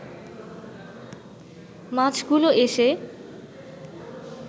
মাছগুলো এসে